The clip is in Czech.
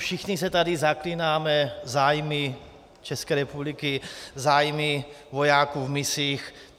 Všichni se tady zaklínáme zájmy České republiky, zájmy vojáků v misích.